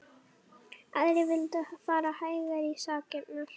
Aðrir vildu fara hægar í sakirnar.